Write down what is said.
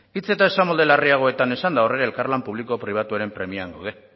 hitz eta esamolde larriagotan esanda horri elkarlan publiko pribatuaren premian gaude